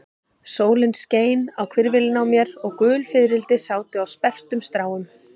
Sólin skein á hvirfilinn á mér og gul fiðrildi sátu á sperrtum stráum.